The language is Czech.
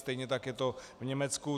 Stejně tak je to v Německu.